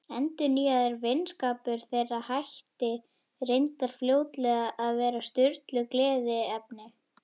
Endurnýjaður vinskapur þeirra hætti reyndar fljótlega að vera Sturlu gleðiefni.